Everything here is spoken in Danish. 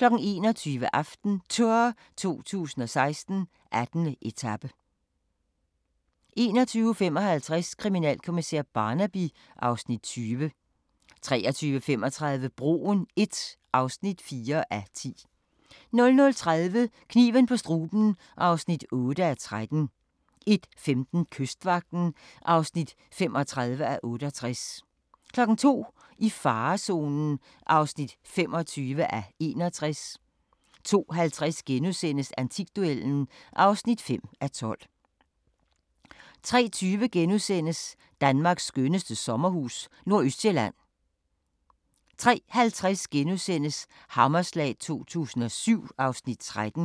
21:00: AftenTour 2016: 18. etape 21:55: Kriminalkommissær Barnaby (Afs. 20) 23:35: Broen I (4:10) 00:30: Kniven på struben (8:13) 01:15: Kystvagten (35:68) 02:00: I farezonen (25:61) 02:50: Antikduellen (5:12)* 03:20: Danmarks skønneste sommerhus – Nordøstsjælland * 03:50: Hammerslag 2007 (Afs. 13)*